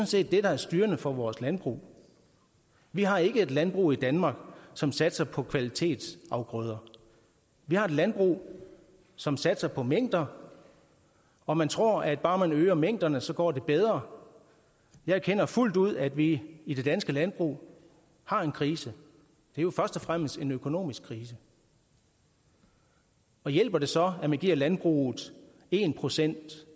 set det der er styrende for vores landbrug vi har ikke et landbrug i danmark som satser på kvalitetsafgrøder vi har et landbrug som satser på mængder og man tror at bare man øger mængderne så går det bedre jeg erkender fuldt ud at vi i det danske landbrug har en krise det er jo først og fremmest en økonomisk krise og hjælper det så at man giver landbruget en procent